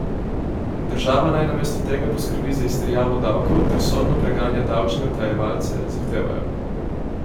Država naj namesto tega poskrbi za izterjavo davkov ter sodno preganja davčne utajevalce, zahtevajo.